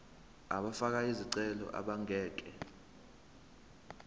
abafake izicelo abangeke